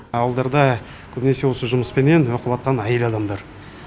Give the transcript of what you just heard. ауылдарда көбінесе осы жұмыспенен оқыватқан әйел адамдар